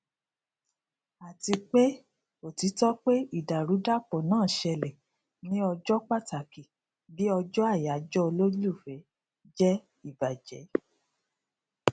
àti pé òtítọ pé ìdàrúdàpọ náà ṣẹlẹ ní ọjọ pàtàkì bí ọjọ àyájọ olólùfẹ jẹ ìbàjẹ